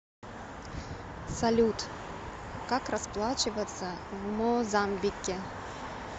салют как расплачиваться в мозамбике